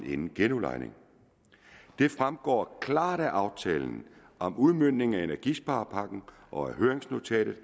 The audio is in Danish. inden genudlejning det fremgår klart af aftalen om udmøntning af energisparepakken og af høringsnotatet